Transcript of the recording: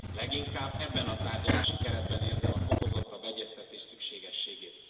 Leginkább ebben a tárgyalási keretben érzem a fokozottabb egyeztetés szükségességét.